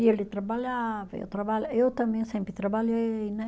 E ele trabalhava, eu trabalha, eu também sempre trabalhei, né?